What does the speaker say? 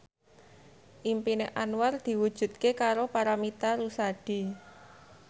impine Anwar diwujudke karo Paramitha Rusady